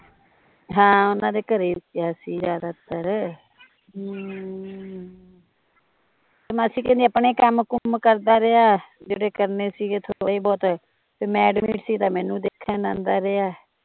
ਹਾਂ ਓਹਨਾਂ ਦੇ ਘਰੇ ਰਿਹਾ ਸੀ ਜਿਆਦਾਤਰ ਹਮ, ਤੇ ਮਾਸੀ ਕਹਿੰਦੀ ਅਪਣੇ ਕੰਮ ਕੁਮ ਕਰਦਾ ਰਿਹਾ ਜਿਹੜੇ ਕਰਨੇ ਸੀਗੇ ਥੋੜੇ ਬਹੁਤ ਤੇ ਮੈਂ ਅਡਮਿਤ ਸੀ ਤਾਂ ਮੈਂਨੂੰ ਦੇਖਣ ਆਉਂਦਾ ਰਿਹਾ